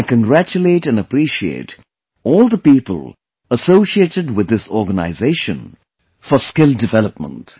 I congratulate and appreciate all the people associated with this organization for skill development